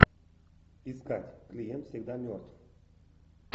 искать клиент всегда мертв